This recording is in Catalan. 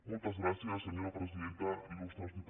moltes gràcies senyora presidenta il·diputades